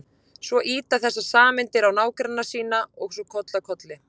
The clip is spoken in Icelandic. Svo ýta þessar sameindir á nágranna sína og svo koll af kolli.